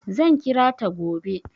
Zan kira ta gobe.